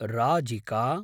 Rajika